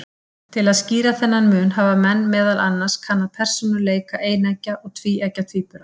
Til að skýra þennan mun hafa menn meðal annars kannað persónuleika eineggja og tvíeggja tvíbura.